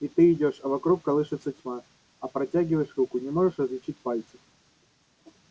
и ты идёшь а вокруг колышется тьма а протягиваешь руку не можешь различить пальцев